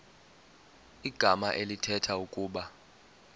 igama elithetha ukuba